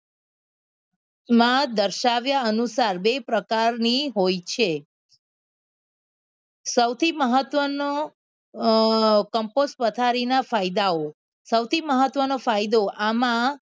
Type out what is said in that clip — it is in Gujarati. માં દર્શાવ્યા અનુસાર બે પ્રકારની હોય છે સૌથી મહત્વનો અ કમ્પોસ્ટ પથારી ના ફાયદાઓ સૌથી મહત્વનો ફાયદો આમાં